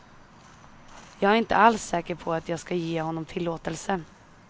Jag är inte alls säker på att jag ska ge honom tillåtelse.